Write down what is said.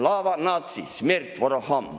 Slava natsii, smert vorogam!